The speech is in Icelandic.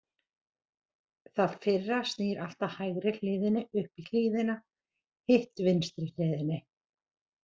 Það fyrra snýr alltaf hægri hliðinni upp í hlíðina, hitt vinstri hliðinni.